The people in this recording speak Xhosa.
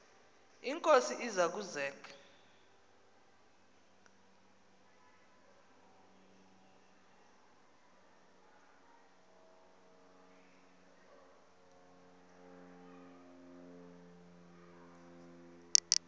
inkosi iza kuzek